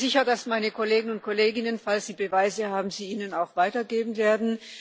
Ich bin sicher, dass meine Kollegen und Kolleginnen, falls sie Beweise haben, sie Ihnen auch weitergeben werden.